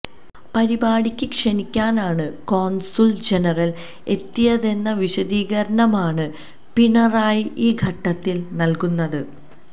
പരിപാടിക്ക് ക്ഷണിക്കാനാണ് consul general എത്തിയതെന്ന വിശദീകരണമാണ് പിണറായി ഈ ഘട്ടത്തിൽ നൽകുന്നത്